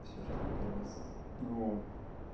все что не делается ну